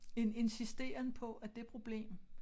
En insisteren på at det problem